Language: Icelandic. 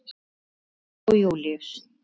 Fjóla og Júlíus.